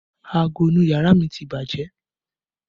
Aago inú yàrá mi ti bàjẹ́